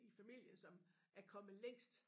I familien som er kommet længst